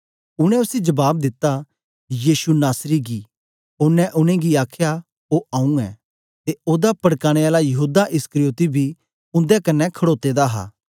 उनै उसी जबाब दिता यीशु नासरी गी ओनें उनेंगी आखया ओ आऊँ ऐं ते ओदा पड़काने आला यहूदा इस्करियोती बी उन्दे कन्ने खडोते दा हा